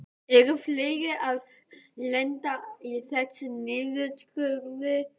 Eru fleiri að lenda í þessum niðurskurði?